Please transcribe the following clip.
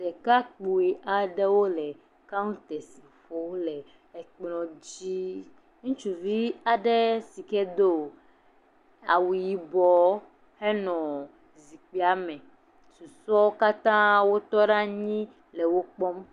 Ɖekakpui aɖewo le kawtɛs ƒo le ekplɔ dzi, ŋutsuvi aɖe yike doa wu yibɔ henɔ zikpuia me, susɔeawo katã wotɔ ɖe anyi le wo kpɔm.